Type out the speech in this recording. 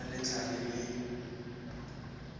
pele ga letlha le le